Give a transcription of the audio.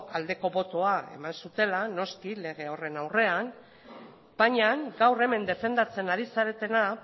aldeko botoa eman zutela noski lege horren aurrean baina gaur hemen defendatzen ari zaretena